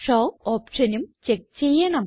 show ഓപ്ഷനും check ചെയ്യണം